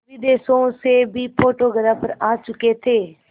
विदेशों से भी फोटोग्राफर आ चुके थे